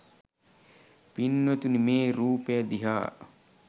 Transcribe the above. පින්වතුනි මේ රූපය දිහා